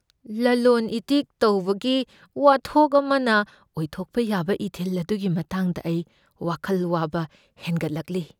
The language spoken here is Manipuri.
ꯂꯂꯣꯟ ꯏꯇꯤꯛ ꯇꯧꯕꯒꯤ ꯋꯥꯊꯣꯛ ꯑꯃꯅ ꯑꯣꯏꯊꯣꯛꯄ ꯌꯥꯕ ꯏꯊꯤꯜ ꯑꯗꯨꯒꯤ ꯃꯇꯥꯡꯗ ꯑꯩ ꯋꯥꯈꯜ ꯋꯥꯕ ꯍꯦꯟꯒꯠꯂꯛꯂꯤ꯫